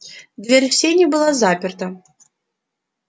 дверь в сени была заперта